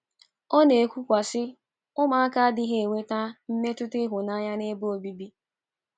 Ọ na - ekwukwasị: “ Ụmụaka adịghị enweta mmetụta ịhụnanya n’ebe obibi.